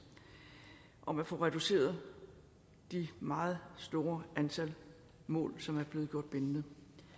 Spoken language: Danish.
om at få reduceret det meget store antal mål som er blevet gjort bindende